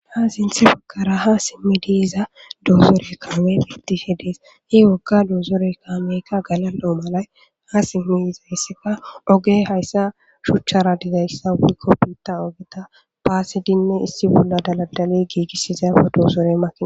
Ha sinthe bagara ha simidi yiza dozore betishe Des, he ogeka dozoreyi kameyka galal'o malayi ha simi yizayska oge haysa shuchara dizaysa woyko biita ogeta baasidinne issi bolla daladali giigisiza dozore makina